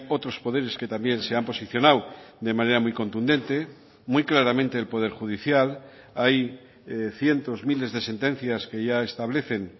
otros poderes que también se han posicionado de manera muy contundente muy claramente el poder judicial hay cientos miles de sentencias que ya establecen